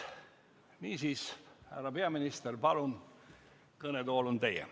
Niisiis, härra peaminister, palun, kõnetool on teie.